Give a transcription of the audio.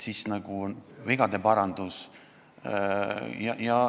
Siis on vaja vigade parandust.